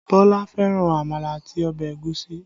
Bọlá fẹ́ràn àmàlà àti ọbẹ̀ ẹ̀gúsí